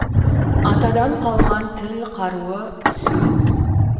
атадан қалған тіл қаруы сөз